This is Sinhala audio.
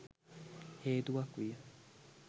හේතුවක් විය.